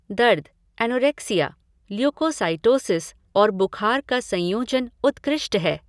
दर्द, anorexia, leukocytosis और बुखार का संयोजन उत्कृष्ट है।